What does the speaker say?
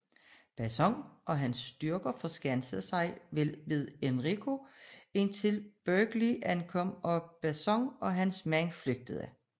Bacon og hans styrke forskansede sig ved Henrico indtil Berkeley ankom og Bacon og hans mænd flygtede